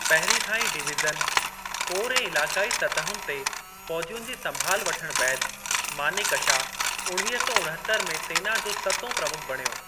पहिरीं खां ई डिवीज़न, कोर ऐं इलाक़ाई सतहुनि ते फ़ौजियुनि जी संभालु वठणु बैदि, मानेकशा उणवीह सौ उणिहतरि में सेना जो सतों प्रमुख बणियो।